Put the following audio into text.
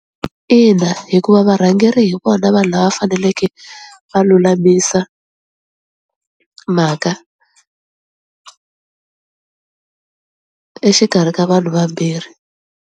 Ina hikuva varhangeri hi vona vanhu lava faneleke va lulamisa mhaka exikarhi ka vanhu vambirhi.